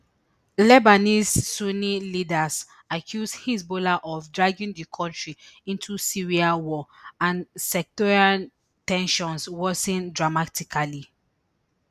lebanese sunni leaders accuse hezbollah of dragging di kontri into syria war and sectarian ten sions worsen dramatically